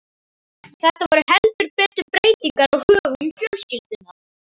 Þetta voru heldur betur breytingar á högum fjölskyldunnar.